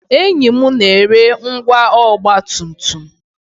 Enyi m na-ere ngwá ọgba tum tum